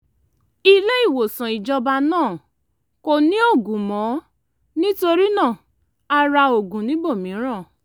ilé-ìwòsàn ìjọba náà kò ní oògùn mọ́ nítorí náà a ra oògùn níbòmíràn